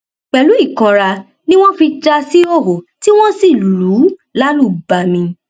pẹlú ìkanra ni wọn fi já a síhòòhò tí wọn sì lù ú lálùbami